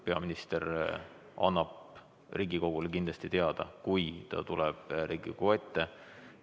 Peaminister annab Riigikogule kindlasti teada, kui ta tuleb Riigikogu ette.